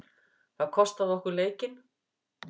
Það kostaði okkur leikinn.